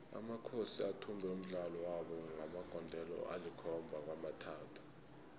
amakhosi athumbe umdlalo wabo ngamagondelo alikhomaba kwamathathu